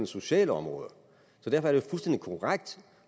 socialområdet og derfor er det fuldstændig korrekt